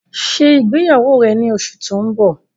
Ṣé ìgbéyàwó rẹ ni oṣù ti o n bọ̀!